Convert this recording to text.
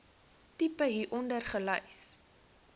tipe hieronder gelys